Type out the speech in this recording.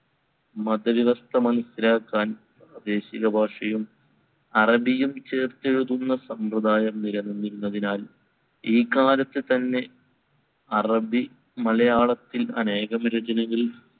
മത വ്യവസ്ഥ മനസ്സിലാക്കാൻ പ്രാദേശികഭാഷയും അറബിയും ചേർത്തെഴുതുന്ന സമ്പ്രദായം നിലനിന്നിരുന്നതിനാൽ ഈ കാലത്തു തന്നെ അറബിമലയാളത്തിൽ അനേകം രചനകൾ